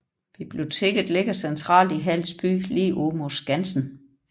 Biblioteket ligger centralt i Hals by lige ud mod Skansen